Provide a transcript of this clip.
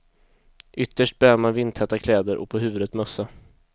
Ytterst bär man vindtäta kläder och på huvudet mössa.